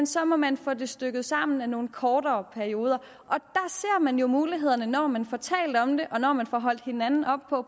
så må man få det stykket sammen af nogle kortere perioder og man jo mulighederne når man får talt om det og når man får holdt hinanden op på at